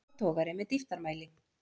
Tappatogari með dýptarmæli.